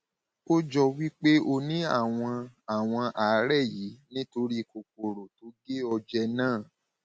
ó jọ wí pé o ní àwọn àwọn àárẹ yìí nítorí kòkòrò tó gé ọ jẹ náà